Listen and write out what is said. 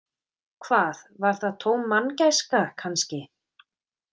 Hvað, var það tóm manngæska, kannski?